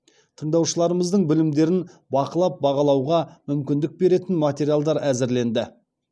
тыңдаушыларымыздың білімдерін бақылап бағалауға мүмкіндік беретін материалдар әзірленді